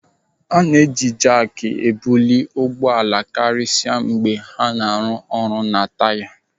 A na-eji jaak ebulite ụgbọala karịsịa mgbe a na-arụ ọrụ na taya.